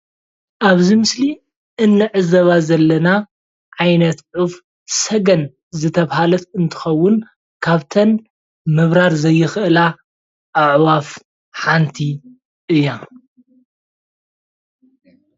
ኣብዚ ምስሊ እንዕዘባ ዘለና ዓይነት ዑፍ ሰገን ዝተብሃለት እንትከውን ካብተን ምብራር ዘይክእላ ኣዕዋፍ ሓንቲ እያ::